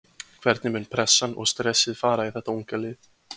Hvernig mun pressan og stressið fara í þetta unga lið?